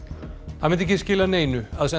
það myndi ekki skila neinu að senda